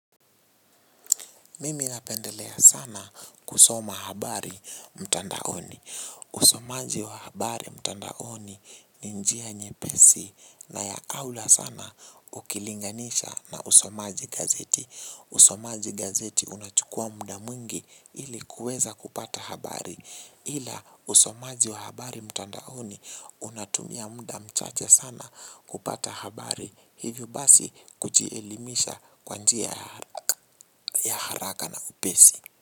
Mimi napendelea sana kusoma habari mtandaoni. Usomaji wa habari mtandaoni ni njia nyepesi na ya aura sana ukilinganisha na usomaji gazeti. Usomaji gazeti unachukuwa muda mwingi ili kuweza kupata habari. Ila usomaji wa habari mtandaoni unatumia muda mchache sana kupata habari. Hivyo basi kujielimisha kwa njia ya haraka na upesi.